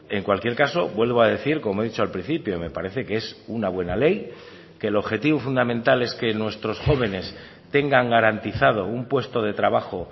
en cualquier caso vuelvo a decir como he dicho al principio me parece que es una buena ley que el objetivo fundamental es que nuestros jóvenes tengan garantizado un puesto de trabajo